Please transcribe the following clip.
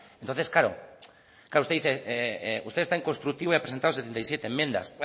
entonces claro usted dice usted es tan constructivo y ha presentado setenta y siete enmiendas